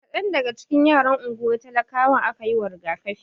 Kadan daga cikin yaran unguwar talakawan aka yiwa rigakafi.